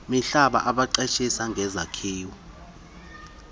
mihlaba abaqeshisa ngezakhiwo